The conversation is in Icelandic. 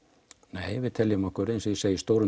nei við teljum okkur eins og ég segi í stórum